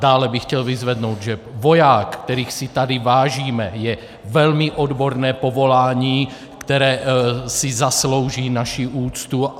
Dále bych chtěl vyzvednout, že voják, kterých si tady vážíme, je velmi odborné povolání, které si zaslouží naši úctu.